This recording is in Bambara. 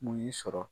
Mun y'i sɔrɔ